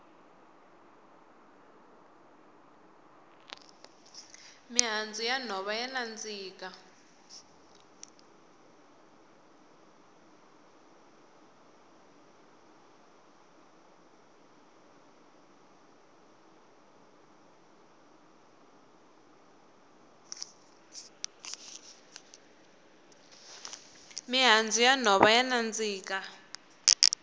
mihandzu ya nhova ya nandziha